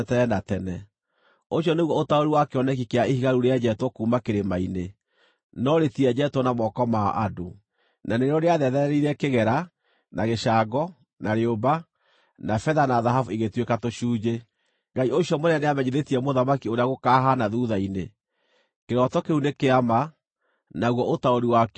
Ũcio nĩguo ũtaũri wa kĩoneki kĩa ihiga rĩu rĩenjetwo kuuma kĩrĩma-inĩ, no rĩtienjetwo na moko ma andũ, na nĩrĩo rĩathetherire kĩgera, na gĩcango, na rĩũmba, na betha na thahabu igĩtuĩka tũcunjĩ. “Ngai ũcio mũnene nĩamenyithĩtie mũthamaki ũrĩa gũkaahaana thuutha-inĩ. Kĩroto kĩu nĩ kĩa ma, naguo ũtaũri wakĩo nĩ wa kwĩhokeka.”